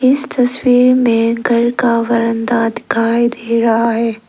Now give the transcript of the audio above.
इस तस्वीर में एक घर का बरंदा दिखाई दे रहा है।